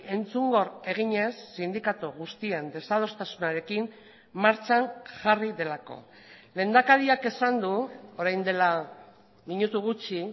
entzungor eginez sindikatu guztien desadostasunarekin martxan jarri delako lehendakariak esan du orain dela minutu gutxi